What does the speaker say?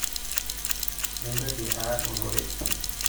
mintoki aar ororei